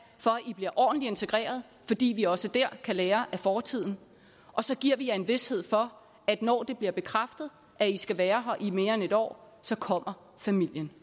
for i bliver ordentligt integreret fordi vi også der kan lære af fortiden og så giver vi jer en vished for at når det bliver bekræftet at i skal være her i mere end en år så kommer familien